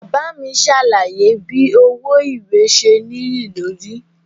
Baba mi ṣe alaye bi owo iwe ṣe niyelori.